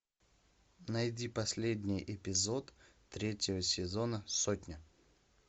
найди последний эпизод третьего сезона сотня